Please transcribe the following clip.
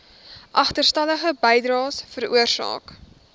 agterstallige bydraes veroorsaak